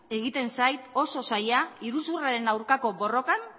egiten zait oso zaila iruzurraren aurkako borrokan